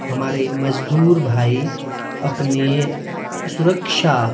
हमारे मजदूर भाई अपने सुरक्षा--